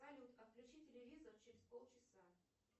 салют отключи телевизор через полчаса